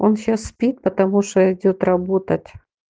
он сейчас спит потому что идёт работать